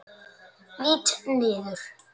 Lít niður.